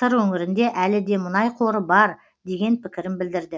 сыр өңірінде әлі де мұнай қоры бар деген пікірін білдірді